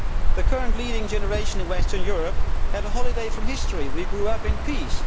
The current leading generation in Western Europe had a holiday from history. We grew up in peace.